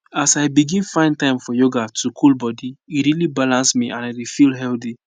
as i begin find time for yoga to cool body e really balance me and i dey feel healthy